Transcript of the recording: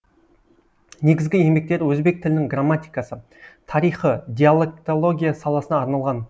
негізгі еңбектері өзбек тілінің грамматикасы тарихы диалектология саласына арналған